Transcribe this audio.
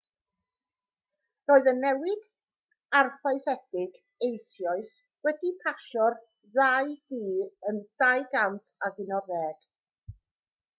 roedd y newid arfaethedig eisoes wedi pasio'r ddau dŷ yn 2011